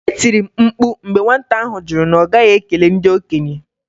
E tiri m mkpu mgbe nwata ahụ jụ na ọ gaghị ekele ndị okenye.